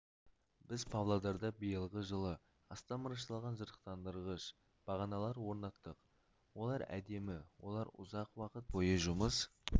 біз павлодарда биылғы жылы астам мырышталған жарықтандырғыш бағаналар орнаттық олар әдемі олар ұзақ уақыт бойы жұмыс